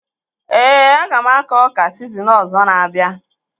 Ee, aga m akọ ọka sizin ọzọ na-abịa